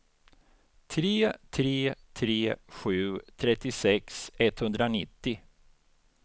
tre tre tre sju trettiosex etthundranittio